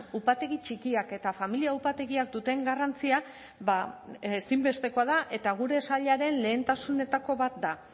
upategi txikiak eta familia upategiak duten garrantzia ba ezinbestekoa da eta gure sailaren lehentasunetako bat da